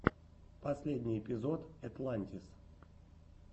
последний эпизод этлантис